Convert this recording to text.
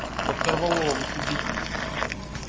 под корвалолом судить будут